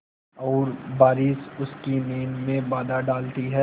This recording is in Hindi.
और बारिश उसकी नींद में बाधा डालती है